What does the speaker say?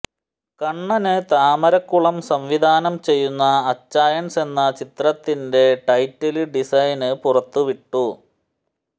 കണ്ണന് താമരക്കുളം സംവിധാനം ചെയ്യുന്ന അച്ചായന്സ് എന്ന ചിത്രത്തിന്റെ ടൈറ്റില് ഡിസൈന് പുറത്തു വിട്ടു